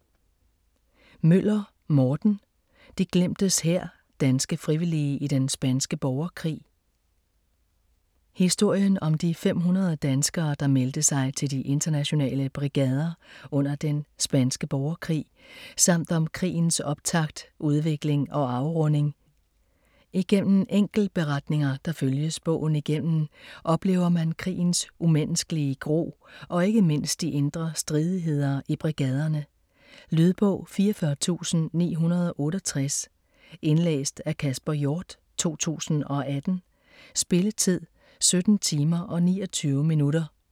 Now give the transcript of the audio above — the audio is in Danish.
Møller, Morten: De glemtes hær: danske frivillige i den spanske borgerkrig Historien om de 500 danskere der meldte sig til De Internationale Brigader under den spanske borgerkrig, samt om krigens optakt, udvikling og afrunding. Igennem enkeltberetninger, der følges bogen igennem, oplever man krigens umenneskelige gru, og ikke mindst de indre stridigheder i brigaderne. Lydbog 44968 Indlæst af Kasper Hjort, 2018. Spilletid: 17 timer, 29 minutter.